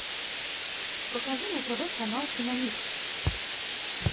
покажи на тв канал киномикс